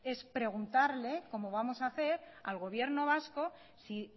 es preguntarle como vamos hacer al gobierno vasco si